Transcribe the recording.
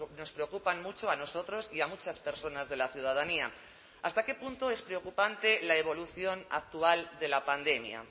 nos preocupan mucho a nosotros y a muchas personas de la ciudadanía hasta qué punto es preocupante la evolución actual de la pandemia